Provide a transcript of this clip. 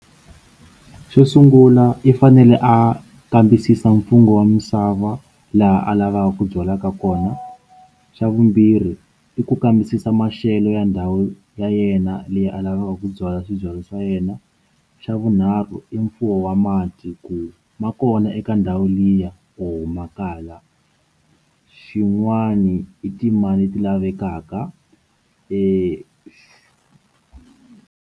Xo sungula i fanele a kambisisa mfungho wa misava laha a lavaka ku byala ka kona xa vumbirhi i ku kambisisa maxelo ya ndhawu ya yena leyi a lavaka ku byala swibyariwa swa yena xa vunharhu i mfuwo wa mati ku ma kona eka ndhawu liya or ma kala xin'wani i timali leti lavekaka.